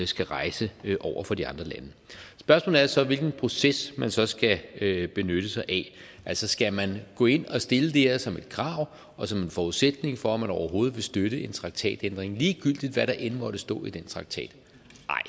skal rejse over for de andre lande spørgsmålet er så hvilken proces man så skal benytte sig af altså skal man gå ind og stille det her som et krav og som en forudsætning for at man overhovedet vil støtte en traktatændring ligegyldigt hvad der end måtte stå i den traktat